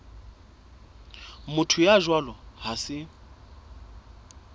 motho ya jwalo ha se